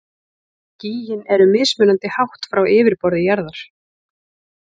Skýin eru mismunandi hátt frá yfirborði jarðar.